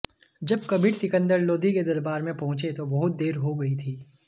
जब कबीर सिकंदर लोदी के दरबार में पहुंचे तो बहुत देर हो गई थी